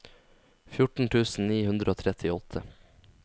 fjorten tusen ni hundre og trettiåtte